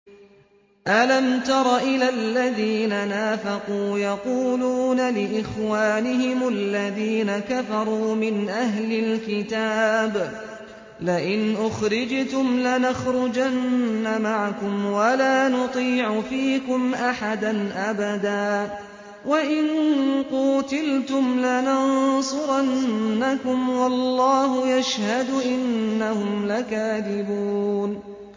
۞ أَلَمْ تَرَ إِلَى الَّذِينَ نَافَقُوا يَقُولُونَ لِإِخْوَانِهِمُ الَّذِينَ كَفَرُوا مِنْ أَهْلِ الْكِتَابِ لَئِنْ أُخْرِجْتُمْ لَنَخْرُجَنَّ مَعَكُمْ وَلَا نُطِيعُ فِيكُمْ أَحَدًا أَبَدًا وَإِن قُوتِلْتُمْ لَنَنصُرَنَّكُمْ وَاللَّهُ يَشْهَدُ إِنَّهُمْ لَكَاذِبُونَ